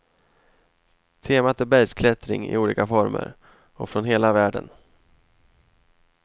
Temat är bergsklättring i olika former, och från hela världen.